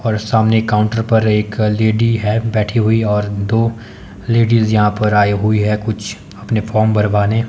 और सामने काउंटर पर एक लेडी है बैठी हुई और दो लेडिज यहां पर आयी हुई है कुछ अपने फार्म भरवाने--